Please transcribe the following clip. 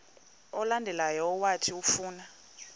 olandelayo owathi ufuna